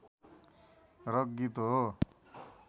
rock गीत हो